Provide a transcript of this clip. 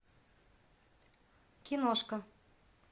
киношка